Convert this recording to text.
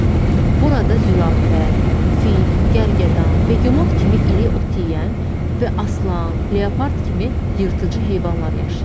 Burada zürafə, fil, gərgədan, begemot kimi iri ot yeyən və aslan, leopard kimi yırtıcı heyvanlar yaşayır.